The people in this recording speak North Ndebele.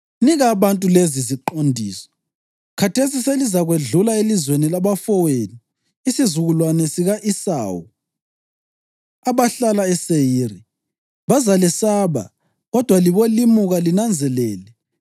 Nika abantu leziziqondiso: “Khathesi selizakwedlula elizweni labafowenu isizukulwane sika-Esawu, abahlala eSeyiri. Bazalesaba, kodwa libolimuka linanzelele.